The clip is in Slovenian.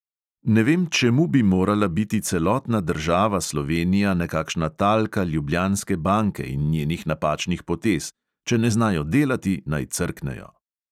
Ne vem, čemu bi morala biti celotna država slovenija nekakšna talka ljubljanske banke in njenih napačnih potez; če ne znajo delati, naj crknejo.